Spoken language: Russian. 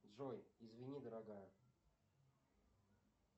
джой извини дорогая